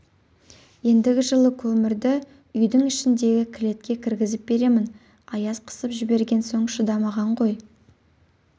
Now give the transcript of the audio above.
ендігі жылы көмірді үйдің ішіндегі кілетке кіргізіп беремін аяз қысып жіберген соң шыдамаған ғой